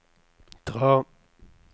dra